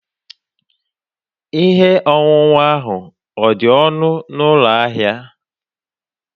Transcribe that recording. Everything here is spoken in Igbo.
Ihe ọṅụṅụ ahụ ọ̀ dị ọnụ n'ụlọ ahịa?